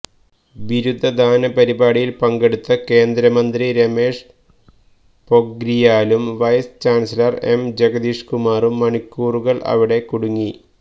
ബിരുദദാന പരിപാടിയിൽ പങ്കെടുത്ത കേന്ദ്ര മന്ത്രി രമേഷ് പൊഖ്രിയാലും വൈസ് ചാൻസലർ എം ജഗദീഷ്കുമാറും മണിക്കൂറുകൾ അവിടെ കുടുങ്ങി